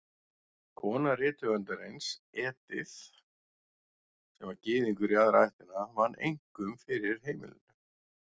Kona rithöfundarins, Edith, sem var Gyðingur í aðra ættina, vann einkum fyrir heimilinu.